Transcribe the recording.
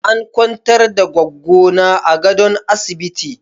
An kwantar da Goggo na a gadon asibiti.